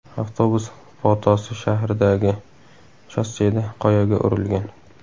Avtobus Potosi shahridagi shosseda qoyaga urilgan.